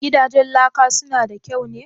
Gidajen laka su na da kyau ne?"